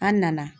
An nana